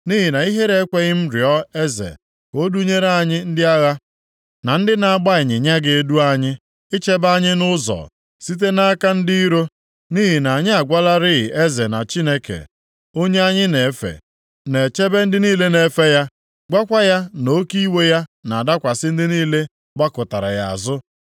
Nʼihi na ihere ekweghị m rịọ eze ka o dunyere anyị ndị agha, na ndị na-agba ịnyịnya ga-edu anyị, ichebe anyị nʼụzọ, site nʼaka ndị iro. Nʼihi na anyị agwalarị eze na Chineke, onye anyị na-efe, na-echebe ndị niile na-efe ya; gwakwa ya na oke iwe ya na-adakwasị ndị niile gbakụtara ya azụ.